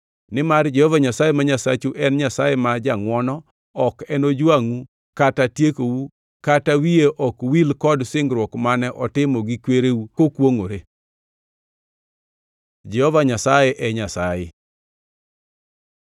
Nimar Jehova Nyasaye ma Nyasachu en Nyasaye ma jangʼwono ok enojwangʼu kata tiekou kata wiye wil kod singruok mane otimo gi kwereu kokwongʼore. Jehova Nyasaye e Nyasaye